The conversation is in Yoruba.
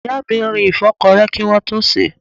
Ìyá mi rin ìfọ́kọrẹ́ kí wọ́n tó sèé.